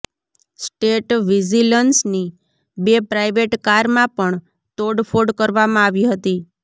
state વિજિલન્સની બે private કારમાં પણ તોડફોડ કરવામાં આવી હતી